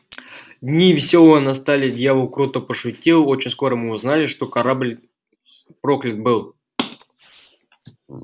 дни весёлые настали дьявол круто пошутил очень скоро мы узнали что корабль проклят был